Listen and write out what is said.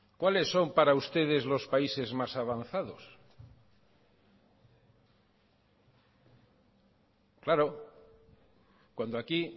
cuáles son para ustedes los países más avanzados claro cuando aquí